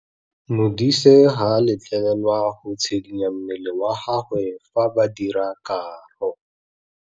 Modise ga a letlelelwa go tshikinya mmele wa gagwe fa ba dira karô.